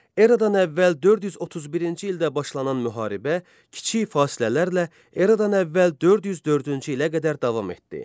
Eradan əvvəl 431-ci ildə başlanan müharibə kiçik fasilələrlə Eradan əvvəl 404-cü ilə qədər davam etdi.